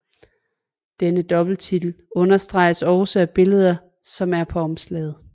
Denne dobbeltitel understrenges også af billederne som er på omslaget